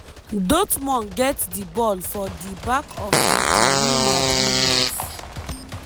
dortmund get di ball for di back of di di real madrid net.